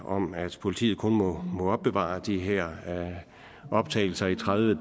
om at politiet kun må opbevare de her optagelser i tredive